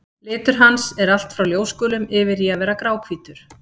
Litur hans er allt frá ljósgulum yfir í að vera gráhvítur.